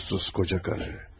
Namussuz qarı.